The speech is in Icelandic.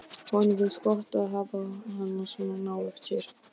Honum finnst gott að hafa hana svona nálægt sér.